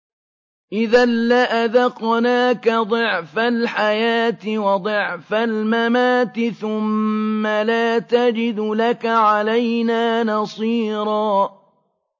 إِذًا لَّأَذَقْنَاكَ ضِعْفَ الْحَيَاةِ وَضِعْفَ الْمَمَاتِ ثُمَّ لَا تَجِدُ لَكَ عَلَيْنَا نَصِيرًا